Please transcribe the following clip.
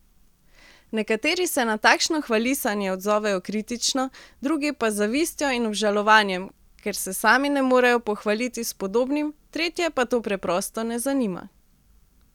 Nekateri se na takšno hvalisanje odzovejo kritično, drugi pa z zavistjo in obžalovanjem, ker se sami ne morejo pohvaliti s podobnim, tretje pa to preprosto ne zanima.